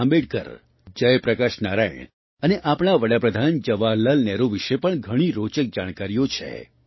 આંબેડકર જયપ્રકાશ નારાયણ અને આપણા પ્રધાનમંત્રીજવાહરલાલ નહેરુ વિશે પણ ઘણી રોચક જાણકારીઓ છે